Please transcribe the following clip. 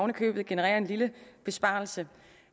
købet genererer en lille besparelse